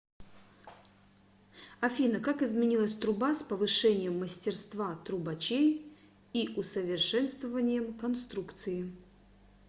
афина как изменилась труба с повышением мастерства трубачей и усовершенствованием конструкции